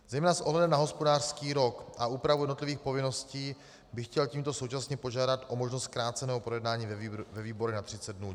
Zejména s ohledem na hospodářský rok a úpravu jednotlivých povinností bych chtěl tímto současně požádat o možnost zkráceného projednání ve výborech na 30 dnů.